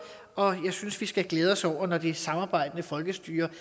og jeg synes vi skal glæde os når det samarbejdende folkestyre